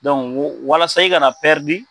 Donc n ko walasa i ka na pɛrdi